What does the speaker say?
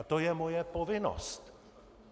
A to je moje povinnost.